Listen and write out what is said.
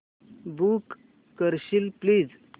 book करशील please